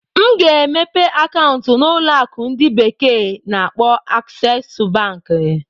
M ga-emepe akaụntụ na ụlọ akụ ndi bekee na-akpo Aksesu Bank.